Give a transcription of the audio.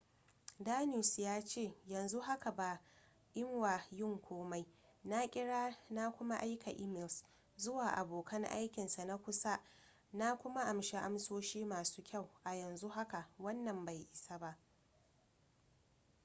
danius ya ce yanzu haka ba mwa yin komi na kira na kuma aika emails zuwa abokan aikinsa na kusa na kuma anshi amsoshi masu kyau a yanzu haka wannan bai isa ba